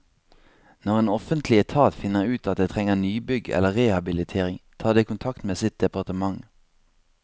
Når en offentlig etat finner ut at det trenger nybygg eller rehabilitering, tar det kontakt med sitt departement.